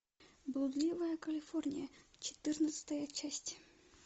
блудливая калифорния четырнадцатая часть